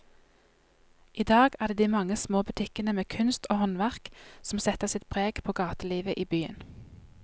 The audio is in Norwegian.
I dag er det de mange små butikkene med kunst og håndverk som setter sitt preg på gatelivet i byen.